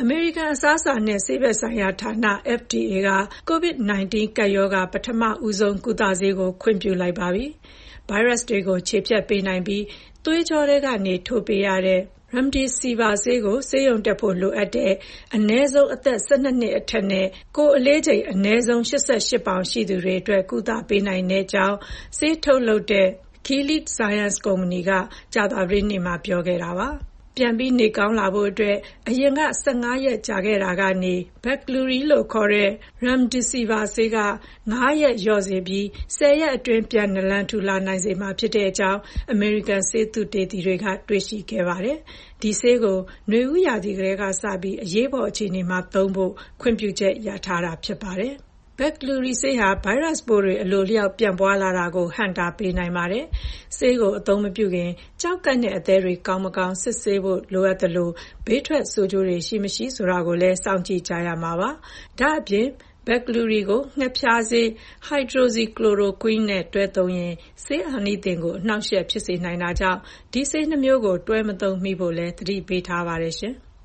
မေရိကန် အစားအစာနဲ့ ဆေးဘက်ဆိုင်ရာဌာန (FDA) က ကိုဗစ်-၁၉ ကပ်ရောဂါ ပထမဦးဆုံး ကုသဆေးကို ခွင့်ပြုလိုက်ပါပြီ။ ဗိုင်းရပ်စ်တွေကို ချေဖျက်ပေးနိုင်ပြီး သွေးကြောထဲကနေ ထိုးပေးရတဲ့ Remdesivir ကို ဆေးရုံတက်ဖို့ လိုအပ်တဲ့ အနည်းဆုံး အသက် ၁၂ နှစ် အထက် နဲ့ အနည်းဆုံး ကိုယ်အလေးချိန် ၈၈ ပေါင်ရှိသူတွေအတွက် ကုသနိုင်ကြောင်း ဆေးထုတ်လုပ်တဲ့ Gilead Sciences Inc., က ကြာသပတေးနေ့မှာ ပြောခဲ့တာပါ။ ပြန်ကောင်းလာဖို့အတွက် အရင်က ၁၅ ရက် ကြာခဲ့တာကနေ Veklury လို့ခေါ်တဲ့ Remdesivir ဆေးက ၅ ရက်လျော့စေပြီး ၁၀ ရက်အတွင်း ပြန်နလံထူလာစေနိုင်ကြောင်း အမေရိကန် ဆေးသုတေသီတွေက တွေ့ရှိခဲ့ပါတယ်။ ဒီဆေးကို နွေဦးရာသီကတည်းကစပြီး အရေးပေါ်အခြေအနေမှာ အသုံးပြုဖို့ ခွင့်ပြုချက်ရထားတာဖြစ်ပါတယ်။ Veklury ဆေးဟာ ဗိုင်းရပ်စ်ပိုးတွေ အလိုအလျောက် ပွားလာတာကို ဟန့်တားပေးနိုင်ပါတယ်။ ဆေးကိုအသုံးမပြုခင် ကျောက်ကပ်နဲ့ အသည်းတွေ ကောင်းမကောင်း စစ်ဆေးဖို့ လိုအပ်သလို ဘေးထွက် ဆိုးကျိုးတွေ ရှိ၊ မရှိဆိုတာကိုလည်းစောင့်ကြည့်ရမှာ ဖြစ်ပါတယ်။ ဒါ့အပြင် Veklury ကို ငှက်ဖျားဆေး hydroxychloroquine နဲ့ တွဲသုံးရင် ဆေးအာနိသင်ကို အနှောင့်အယှက်ဖြစ်စေနိုင်တာကြောင့် ဒီဆေးနှစ်မျိုးကို တွဲမသုံးမိဖို့လည်း သတိပေးထားပါတယ်။